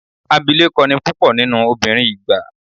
Abilékọ ni púpọ̀ nínú obìnrin ìgbà then.